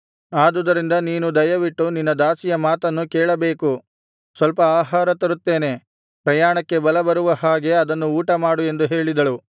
ಆದುದರಿಂದ ನೀನು ದಯವಿಟ್ಟು ನಿನ್ನ ದಾಸಿಯ ಮಾತನ್ನು ಕೇಳಬೇಕು ಸ್ವಲ್ಪ ಆಹಾರ ತರುತ್ತೇನೆ ಪ್ರಯಾಣಕ್ಕೆ ಬಲಬರುವ ಹಾಗೆ ಅದನ್ನು ಊಟಮಾಡು ಎಂದು ಹೇಳಿದಳು